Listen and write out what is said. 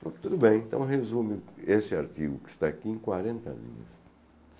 Falei, tudo bem, então resume esse artigo que está aqui em quarenta linhas.